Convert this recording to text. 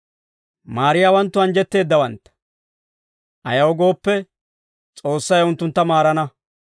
Maariyaawanttu anjjetteeddawantta; ayaw gooppe, S'oossay unttuntta maarana.